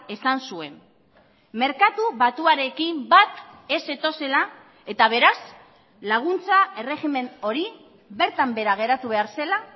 esan zuen merkatu batuarekin bat ez zetozela eta beraz laguntza erregimen hori bertan behera geratu behar zela